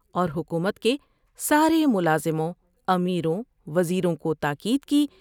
اور حکومت کے سارے ملازموں ، امیروں ، وزیروں کو تاکید کی